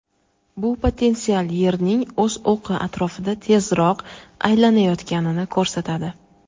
Bu potensial Yerning o‘z o‘qi atrofida tezroq aylanayotganini ko‘rsatadi.